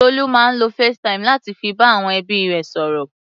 Tolú máa ń lo facetime láti fi bá àwọn ẹbí rẹ̀ sọ̀rọ̀.